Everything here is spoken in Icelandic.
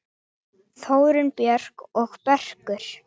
Þórunn Björk og Börkur.